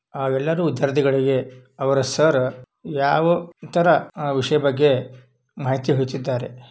ಆ ಎಲ್ಲರೂ ವಿಧ್ಯಾರ್ಥಿ ಗಳಿಗೆ ಅವರ ಸರ್ ಆ ಯಾವು ತರ ಆ ವಿಶಿ ಬಗ್ಗೆ ಮಾಹಿತಿ ಹುಚಿದ್ದಾರೆ.